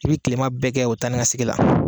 I bi tilema bɛɛ kɛ o taa ni ka segin la.